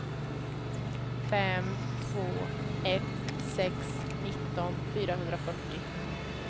fem två ett sex nitton fyrahundrafyrtio